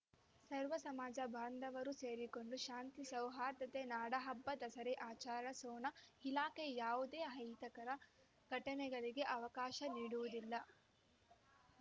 ಸರ್ವ ಸಮಾಜ ಬಾಂಧವರೂ ಸೇರಿಕೊಂಡು ಶಾಂತಿ ಸೌಹಾರ್ದತೆಯಿಂದ ನಾಡಹಬ್ಬ ದಸರೆ ಆಚರಿಸೋಣ ಇಲಾಖೆಯೂ ಯಾವುದೇ ಅಹಿತಕರ ಘಟನೆಗಳಿಗೆ ಅವಕಾಶ ನೀಡುವುದಿಲ್ಲ